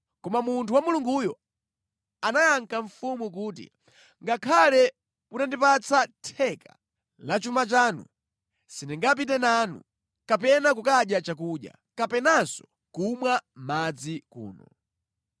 Koma munthu wa Mulunguyo anayankha mfumu kuti, “Ngakhale mutandipatsa theka la chuma chanu, sindingapite nanu, kapena kudya chakudya, kapenanso kumwa madzi kuno.